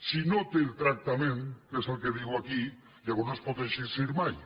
si no en té el tractament que és el que diu aquí llavors no es pot exercir mai